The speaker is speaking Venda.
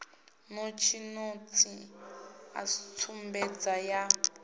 notsi notsi a tsumbedzo yan